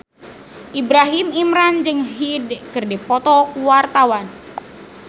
Ibrahim Imran jeung Hyde keur dipoto ku wartawan